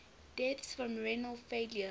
deaths from renal failure